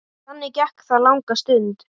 Þannig gekk það langa stund.